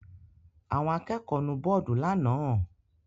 Àwọn akẹ́kọ̀ọ́ nu bọ́ọ́dù lánàá?